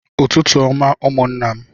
Ụtụtụ ọma ụmụńnà m